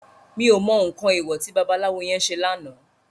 Mi ó mò nkán éwò ti babalawo yèn sé làná